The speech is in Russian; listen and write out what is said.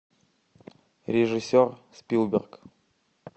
режиссер спилберг